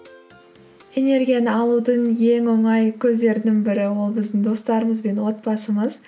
энергияны алудың ең оңай көздерінің бірі ол біздің достарымыз бен отбасымыз